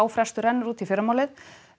frestur rennur út í fyrramálið